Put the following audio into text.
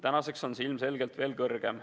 Tänaseks on see ilmselgelt veel kõrgem.